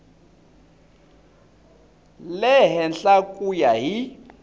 le henhla ku ya hi